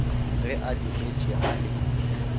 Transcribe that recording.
ge a dutše a le